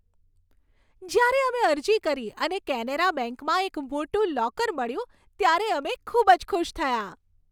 જ્યારે અમે અરજી કરી અને કેનેરા બેંકમાં એક મોટું લોકર મળ્યું ત્યારે અમે ખૂબ જ ખુશ થયા.